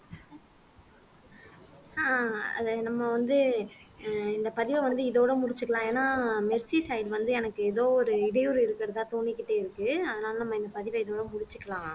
அஹ் அது நம்ம வந்து அஹ் இந்த பதிவை வந்து இதோட முடிச்சிக்கலாம் ஏன்னா மெர்சி side வந்து எனக்கு ஏதோ ஒரு இடையூறு இருக்கிறதா தோணிக்கிட்டே இருக்கு அதனால நம்ம இந்த பதிவை இதோட முடிச்சிக்கலாம்